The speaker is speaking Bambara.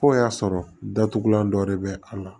F'o y'a sɔrɔ datugulan dɔ de bɛ a la